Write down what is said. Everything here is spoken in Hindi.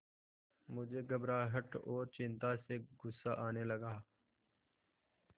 मुझे घबराहट और चिंता से गुस्सा आने लगा